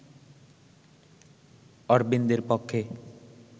অরবিন্দের পক্ষে